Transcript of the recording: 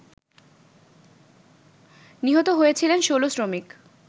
নিহত হয়েছিলেন ১৬ শ্রমিক